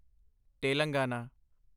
Telangana